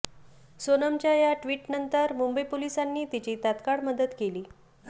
सोनमच्या या ट्वीटनंतर मुंबई पोलिसांनी तिची तात्काळ मदत केली